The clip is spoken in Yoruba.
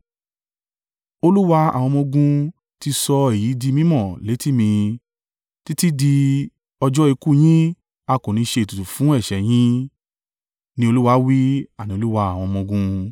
Olúwa àwọn ọmọ-ogun ti sọ èyí di mí mọ̀ létí ì mi: “Títí di ọjọ́ ikú yín a kò ní ṣe ètùtù fún ẹ̀ṣẹ̀ yìí,” ni Olúwa wí, àní Olúwa àwọn ọmọ-ogun.